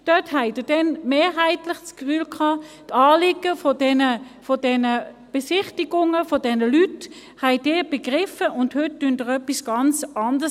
Dort habt ihr mehrheitlich das Gefühl gehabt, die Anliegen dieser Leute bei den Besichtigungen hättet ihr begriffen, und heute sagt ihr etwas ganz anderes.